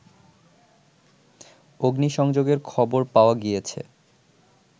অগ্নিসংযোগের খবর পাওয়া গিয়েছে